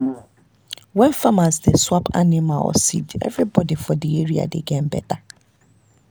when farmers dey swap animal or seed everybody for the area dey gain better.